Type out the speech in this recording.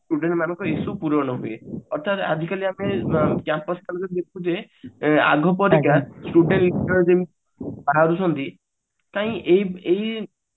student ମାନଙ୍କ issue ପୂରଣ ହୁଏ ଅର୍ଥାତ ଆଜିକାଲି ଆମେ ଆଗପରିକା student ବାହାରୁ ଛନ୍ତି କାହିଁ ଏଇ ଏଇଏ